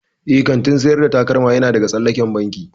Eh, kantin sayar da takalma yana daga tsallaken banki.